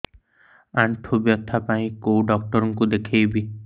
ଆଣ୍ଠୁ ବ୍ୟଥା ପାଇଁ କୋଉ ଡକ୍ଟର ଙ୍କୁ ଦେଖେଇବି